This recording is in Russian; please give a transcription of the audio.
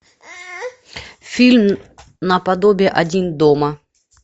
фильм наподобие один дома